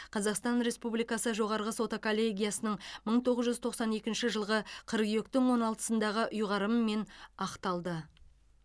қазақстан республикасы жоғарғы соты коллегиясының мың тоғыз жүз тоқсан екінші жылғы қыркүйектің он алтысындағы ұйғарымымен ақталды